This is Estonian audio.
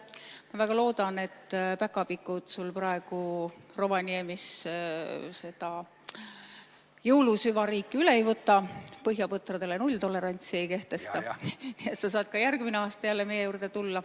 Ma väga loodan, et päkapikud praegu sul Rovaniemis seda jõulusüvariiki üle ei võta, põhjapõtradele nulltolerantsi ei kehtesta, nii et sa saad ka järgmine aasta jälle meie juurde tulla.